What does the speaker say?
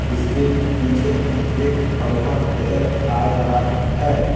इसके पीछे एक पंखा नजर आ रहा है।